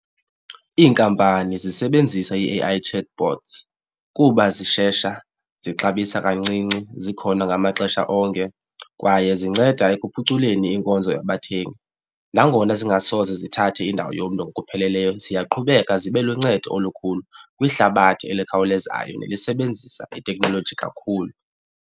Iinkampani zisebenzisa i-A_I chatbots kuba zishesha, zixabisa kancinci, zikhona ngamaxesha onke kwaye zinceda ekuphuculeni inkonzo yabathengi. Nangona zingasoze zithathe indawo yomntu ngokupheleleyo ziyaqhubeka zibe luncedo olukhulu kwihlabathi elikhawulezayo nelisebenzisa iteknoloji kakhulu.